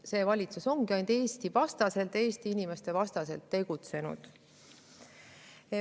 See valitsus ongi ainult Eesti-vastaselt, Eesti inimeste vastaselt tegutsenud.